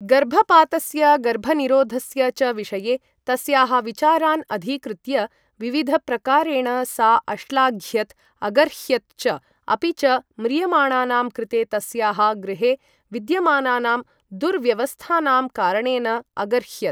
गर्भपातस्य गर्भनिरोधस्य च विषये तस्याः विचारान् अधिकृत्य विविधप्रकारेण सा अश्लाघ्यत अगर्ह्यत च, अपि च म्रियमाणानां कृते तस्याः गृहे विद्यमानानां दुर्व्यवस्थानां कारणेन अगर्ह्यत।